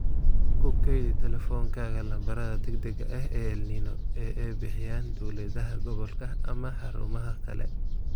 Ku kaydi teleefankaaga lambarada degdega ah ee El Niño ee ay bixiyaan dawladaha gobolka ama xarumaha kale.